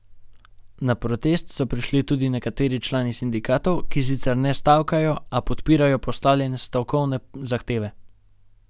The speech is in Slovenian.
Na protest so prišli tudi nekateri člani sindikatov, ki sicer ne stavkajo, a podpirajo postavljene stavkovne zahteve.